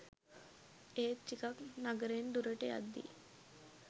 ඒත් ටිකක් නගරෙන් දුරට යද්දි